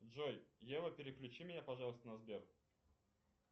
джой ева переключи меня пожалуйста на сбер